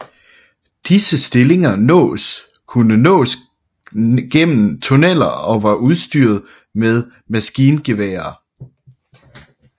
Disse stillinger kunne nås gennem tunneler og var udstyret med maskingeværer